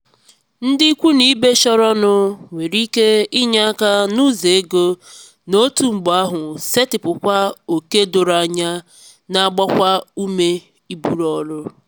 ndị ikwu n'ibe chọrọnụ nwere ike inye aka n'ụzọ ego na otu mgbe ahụ setịpụkwa ókè doro anya na-agbakwa ume iburu ọrụ.